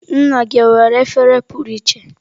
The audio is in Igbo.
Nna gị ọ nwere efere pụrụ iche?